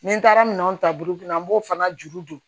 Ni n taara minɛnw ta burukina an b'o fana juru don